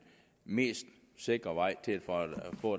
mest sikre vej